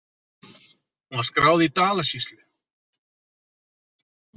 Hún var skráð í Dalasýslu.